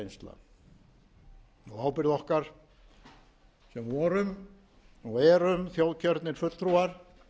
reynsla ábyrgð okkar sem vorum og erum þjóðkjörnir fulltrúar